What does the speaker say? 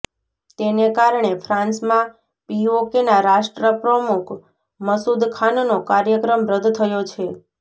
તેને કારણે ફ્રાંસમાં પીઓકેના રાષ્ટ્રપ્રમુખ મસૂદ ખાનનો કાર્યક્રમ રદ્દ થયો છે